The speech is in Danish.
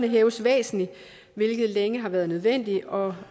hæves væsentligt hvilket længe har været nødvendigt og